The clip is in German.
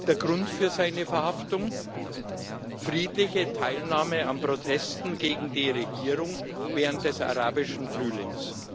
Der Grund für seine Verhaftung friedliche Teilnahme an Protesten gegen die Regierung während des Arabischen Frühlings.